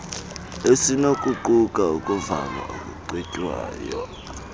esinokuquka ukuvalwa okucetywayo